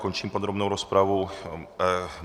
Končím podrobnou rozpravu.